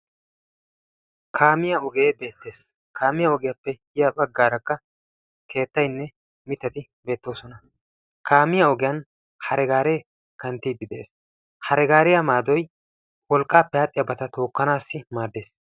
kaamiyaa ogee beettees. kaamiyaa ogiyaappe ya baaggarakka keetaynne mittati beettoosona. kaamiyaa ogiyaan hare gaaree kanttidi beettees. hare gariyaa maadoy wolqqaappe dariyaabata tookkanawu maaddees.